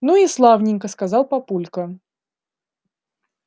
ну и славненько сказал папулька